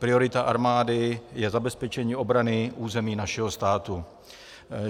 Priorita armády je zabezpečení obrany území našeho státu.